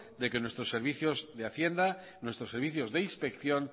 de que nuestros servicios de hacienda nuestros servicios de inspección